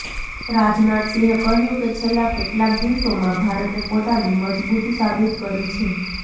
રાજનાથ સિંહે કહ્યું કે છેલ્લા કેટલાક દિવસોમાં ભારતે પોતાની મજબુતી સાબિત કરી છે